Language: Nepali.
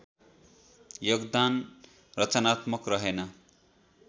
योगदान रचनात्मक रहेन